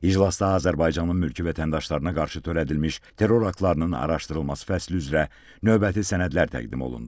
İclasda Azərbaycanın mülki vətəndaşlarına qarşı törədilmiş terror aktlarının araşdırılması fəslü üzrə növbəti sənədlər təqdim olundu.